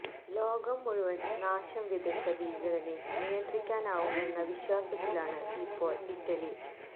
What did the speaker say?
ലോകം മുഴുവൻ നാശം വിതച്ച ഭീകരനെ നിയന്ത്രിക്കാനാവുമെന്ന വിശ്വാസത്തിലാണ് ഇപ്പോൾ ഇറ്റലി